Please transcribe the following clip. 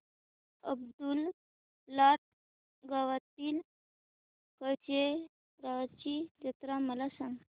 अब्दुललाट गावातील कलेश्वराची जत्रा मला सांग